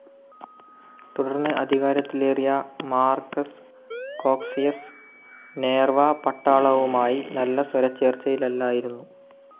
തുടർന്ന് അധികാരത്തിലേറിയ Marcus Cocceius Nerva പട്ടാളവുമായി നല്ല സ്വരച്ചേർച്ചയിലല്ലായിരുന്നു.